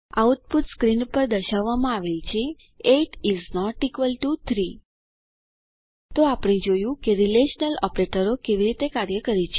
output screen પર દર્શાવવામાં આવે છે 8 ઇસ નોટ ઇક્વલ ટીઓ 3 તો આપણે જોયું કે રીલેશનલ ઓપરેટરો કેવી રીતે કાર્ય કરે છે